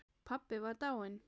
Pabbi var dáinn.